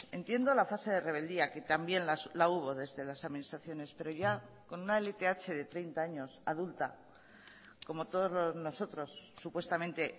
entiendo la fase de rebeldía que también la hubo desde las administraciones pero ya con una lth de treinta años adulta como todos nosotros supuestamente